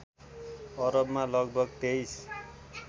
अरबमा लगभग २३